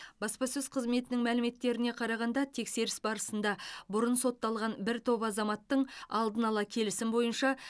баспасөз қызметінің мәліметтеріне қарағанда тексеріс барысында бұрын сотталған бір топ азаматтың алдын ала келісім бойынша